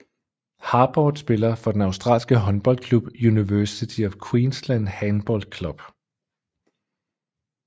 Harbort spiller for den australske håndboldklub University of Queensland Handball Club